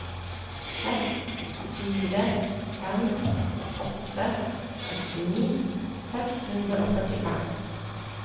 seks fire fem åtte sekstini seks hundre og førtifem